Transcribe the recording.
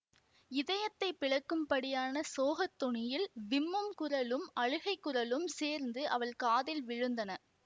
இதயத்தைப் பிளக்கும்படியான சோகத் தொனியில் விம்மும் குரலும் அழுகைக் குரலும் சேர்ந்து அவள் காதில் விழுந்தன